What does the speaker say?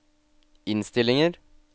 innstillinger